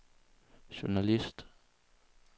journalist